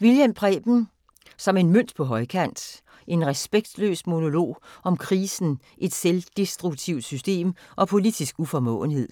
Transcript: Wilhjelm, Preben: Som en mønt på højkant: en respektløs monolog om krisen, et selvdestruktivt system og politisk uformåenhed